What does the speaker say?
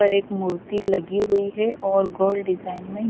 पर एक मूर्ति लगी हुई है और गोल्ड डिजाइन में--